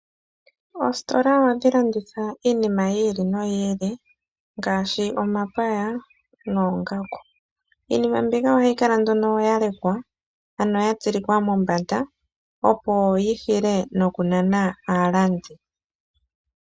Oositola ohadhi landitha iinima yi ili noyi ili, ngaashi omapaya, noongaku. Iinima mbika ohayi kala nduno yalekwa, ano ya tsilikwa mombanda, opo yi nane aalandi.